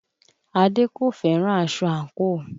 Adé kò fẹ́ràn aṣọ ankoo